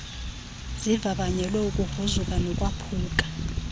zivavanyelwe ukugruzuka nokwaphuka